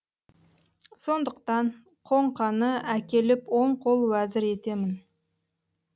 сондықтан қоңқаны әкеліп оң қол уәзір етемін